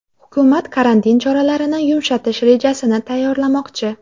Hukumat karantin choralarini yumshatish rejasini tayyorlamoqchi.